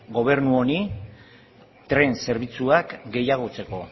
gobernu honi tren zerbitzuak gehiagotzeko